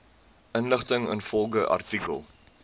inligting ingevolge artikel